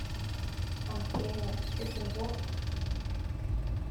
афина путин вор